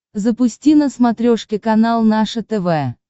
запусти на смотрешке канал наше тв